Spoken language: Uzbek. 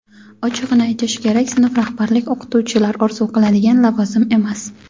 Ochig‘ini aytish kerak sinf rahbarlik o‘qituvchilar orzu qiladigan lavozim emas.